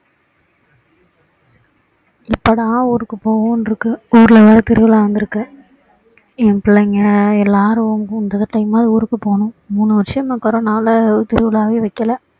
எப்போடா ஊருக்கு போவோம்னு இருக்கு ஊர்ல வேற திருவிழா வந்திருக்கு என் பிள்ளைங்க எல்லாரும் time ஆவது ஊருக்கு போகணும் மூணு வருஷம் இந்த கொரோனால திருவிழாவே வைக்கல